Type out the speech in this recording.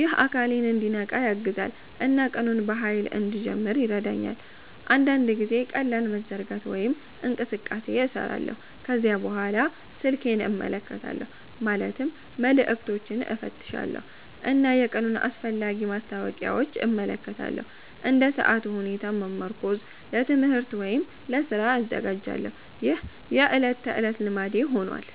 ይህ አካሌን እንዲነቃ ያግዛል እና ቀኑን በኃይል እንድጀምር ይረዳኛል። አንዳንድ ጊዜ ቀላል መዘርጋት ወይም እንቅስቃሴ እሰራለሁ። ከዚያ በኋላ ስልኬን እመለከታለሁ ማለትም መልዕክቶችን እፈትሻለሁ እና የቀኑን አስፈላጊ ማስታወቂያዎች እመለከታለሁ። እንደ ሰዓቱ ሁኔታ በመመርኮዝ ለትምህርት ወይም ለስራ እዘጋጃለሁ። ይህ የዕለት ተዕለት ልማዴ ሆኗል።